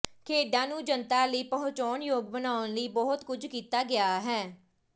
ਖੇਡਾਂ ਨੂੰ ਜਨਤਾ ਲਈ ਪਹੁੰਚਯੋਗ ਬਣਾਉਣ ਲਈ ਬਹੁਤ ਕੁਝ ਕੀਤਾ ਗਿਆ ਹੈ